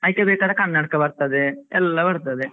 ಅದಕ್ಕೆ ಬೇಕಾದ ಕನ್ನಡಕ ಬರ್ತದೆ ಎಲ್ಲ ಬರ್ತದೆ.